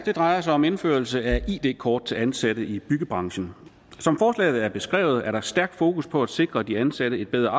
her drejer sig om indførelse af id kort til ansatte i byggebranchen som forslaget er beskrevet er der et stærkt fokus på at sikre de ansatte et bedre